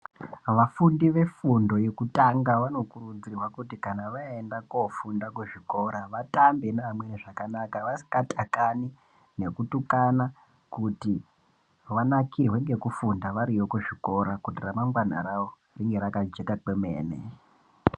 Vafundi vefundo yekutanga vanokurudzirwa kuti kana vayenda kofunda kuzvikora vatambe nevamweni zvakanaka , vasingatakani nekutukana kuti vanakirwe ngekufunda variyo kuzvikora kuti ramangwana ravo ringe rakajeka kwemene.